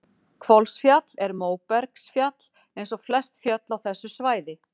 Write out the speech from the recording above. Hvolsfjall er móbergsfjall eins og flest fjöll á þessu svæði.